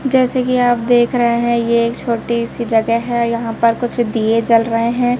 जैसे कि आप देख रहे हैं ये एक छोटी सी जगह है यहां पर कुछ दिए जल रहे हैं।